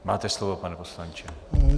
Máte slovo, pane poslanče.